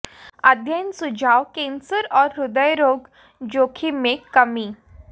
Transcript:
अध्ययन सुझाव कैंसर और हृदय रोग जोखिम में कमी